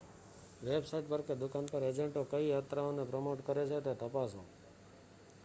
website પર કે દુકાન પર એજન્ટો કઈ યાત્રાઓને પ્રમોટ કરે છે તે તપાસો